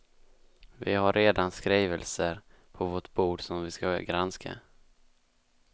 Vi har redan skrivelser på vårt bord som vi skall granska.